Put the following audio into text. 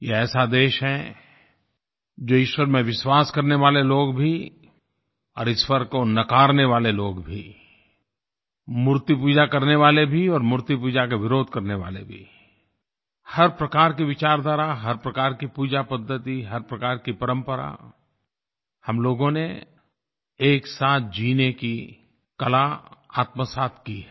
ये ऐसा देश है जो ईश्वर में विश्वास करने वाले लोग भी और ईश्वर को नकारने वाले लोग भी मूर्ति पूजा करने वाले भी और मूर्ति पूजा का विरोध करने वाले भी हर प्रकार की विचारधारा हर प्रकार की पूजा पद्धति हर प्रकार की परंपरा हम लोगों ने एक साथ जीने की कला आत्मसात की है